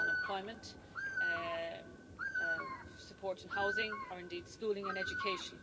unemployment support in housing, or indeed schooling and education